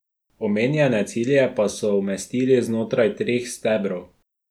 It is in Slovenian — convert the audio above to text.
Omenjene cilje pa so umestili znotraj treh stebrov.